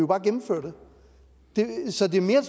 bare gennemføre det så det er mere